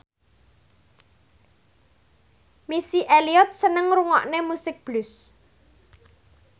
Missy Elliott seneng ngrungokne musik blues